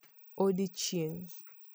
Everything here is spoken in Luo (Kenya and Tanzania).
Odiechieng'